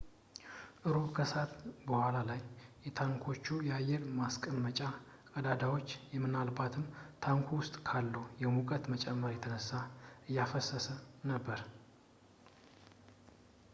እሮብ ከሰዓት በኋላ ላይ የታንኮቹ የአየር ማስወጫ ቀዳዳዎች ምናልባትም ታንኩ ውስጥ ካለው የሙቀት መጨመር የተነሳ እያፈሰሱ ነበር